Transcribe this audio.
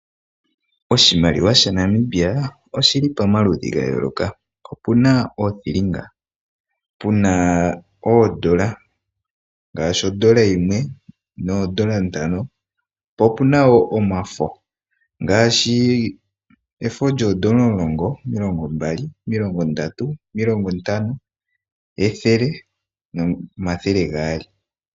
Oshimaliwa sha Namibia osholi pomaludhu ga yooloka. Opuna oothilinga, puna oondola, ngaashi ondola yimwe noondola ntano, po opuna woo omafo ngaashi efo lyoondola omulongo, omilongombali, omilongo ndatu, omilongo ntano, ethele nomathele gaali.